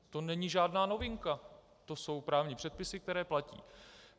To není žádná novinka, to jsou právní předpisy, které platí.